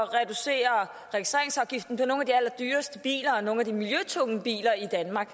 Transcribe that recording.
reducere registreringsafgiften for nogle af de allerdyreste biler og nogle af de miljøtunge biler i danmark